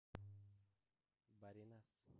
баринас